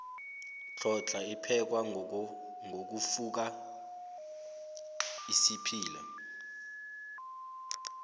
hlhodlna iphekwa ngokufoka isiphila